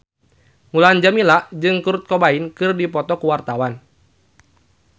Mulan Jameela jeung Kurt Cobain keur dipoto ku wartawan